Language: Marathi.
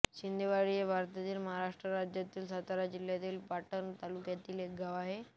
शिंदेवाडी हे भारतातील महाराष्ट्र राज्यातील सातारा जिल्ह्यातील पाटण तालुक्यातील एक गाव आहे